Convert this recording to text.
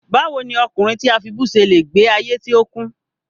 Báwo ni ọkùnrin tí a fibú ṣe le gbe ayé tí ó kún?